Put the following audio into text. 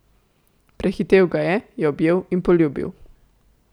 Prehitel ga je, jo objel in poljubil.